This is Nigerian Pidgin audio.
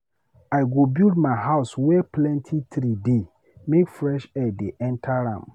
I go build my house were plenty tree dey make fresh air dey enta am.